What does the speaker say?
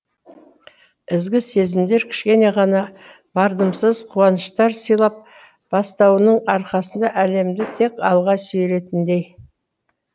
ізгі сезімдер кішкене ғана мардымсыз қуаныштар сыйлап бастауының арқасында әлемді тек алға сүйрейтіндей